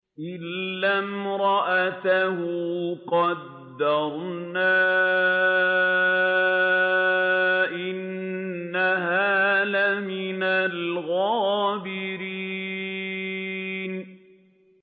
إِلَّا امْرَأَتَهُ قَدَّرْنَا ۙ إِنَّهَا لَمِنَ الْغَابِرِينَ